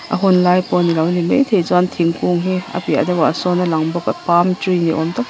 a hunlai pawh a nilo ni maithei chuan thingkung hi a piahah sawn a lang bawk a palm tree ni awm tak te--